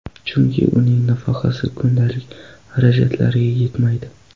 Chunki uning nafaqasi kundalik xarajatlariga yetmaydi.